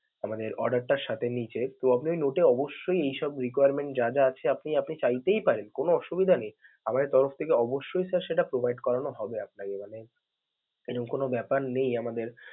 মানে আমাদের order টার সাথে নিচে তো আপনি ওই notes এ অবশ্যই এসব requirements যা যা আছে আপনি আপনি চাইতেই পারেন, কোনো অসুবিধা নেই. আমাদের তরফ থেকে অবশ্যই sir সেটা provide করানো হবে আপনাকে মানে, এরম কোন ব্যাপার নেই আমাদের.